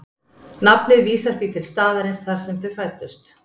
nafnið vísar því til staðarins þar sem þau fæddust